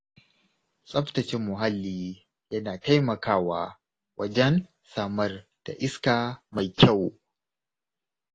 Tsaftace mahalli yana taimakawa wajen samar da iska mai kyau.